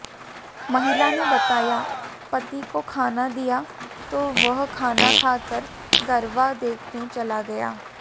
महिला ने बताया पति को खाना दिया तो वह खाना खाकर गरबा देखने चला गया